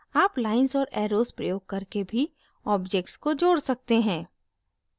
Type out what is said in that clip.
आप lines और arrows प्रयोग करके भी objects को जोड़ सकते हैं